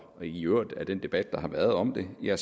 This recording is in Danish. i øvrigt af den debat der har været om det jo